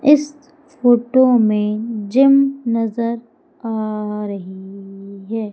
इस फोटो में जिम नजर आ रही है।